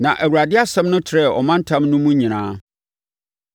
Na Awurade asɛm no trɛɛ ɔmantam no mu nyinaa.